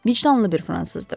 Vicdanlı bir fransızdır.